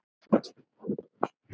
Nei vinir!